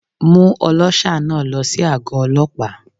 Mú ọlọ́ṣà náà lọ sí àgó Ọlọ́pàá.